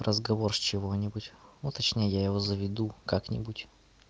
разговор с чего-нибудь ну точнее я его заведу как-нибудь